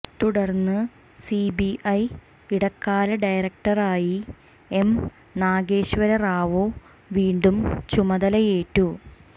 തുടര്ന്ന് സിബിഐ ഇടക്കാല ഡയറക്ടറായി എം നാഗേശ്വര റാവു വീണ്ടും ചുമതലയേറ്റു